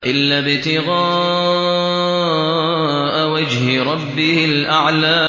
إِلَّا ابْتِغَاءَ وَجْهِ رَبِّهِ الْأَعْلَىٰ